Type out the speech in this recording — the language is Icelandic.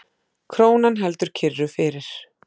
Krónan heldur kyrru fyrir